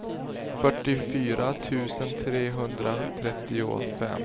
fyrtiofyra tusen trehundratrettiofem